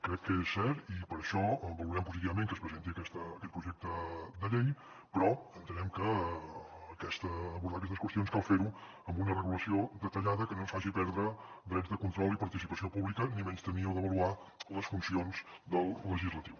crec que és cert i per això valorem positivament que es presenti aquest projecte de llei però entenem que per abordar aquestes qüestions cal fer ho amb una regulació detallada que no ens faci perdre drets de control i participació pública ni menystenir o devaluar les funcions del legislatiu